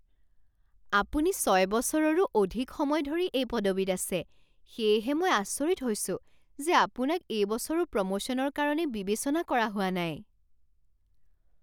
আপুনি ছয় বছৰৰো অধিক সময় ধৰি এই পদবীত আছে সেয়েহে মই আচৰিত হৈছোঁ যে আপোনাক এই বছৰো প্ৰমোশ্যনৰ কাৰণে বিবেচনা কৰা হোৱা নাই।